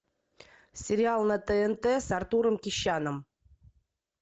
сериал на тнт с артуром кещяном